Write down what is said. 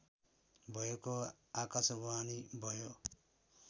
भएको आकाशवाणी भयो